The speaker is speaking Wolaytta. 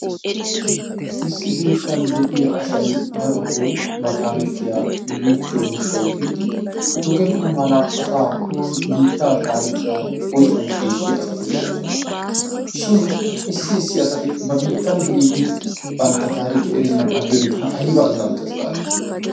Issi biittan de"iya asay darotoo ba taarikiya dogiichchiyo gishshawu giidi dogenna mala asaa eta biittaa taarikiya oyshaa shiishshiya asati de"oosona. Shin issi issi asati ba biittan de"iiddi bantta taarikiya erennan aggiyode ayba azzanttees gaadii.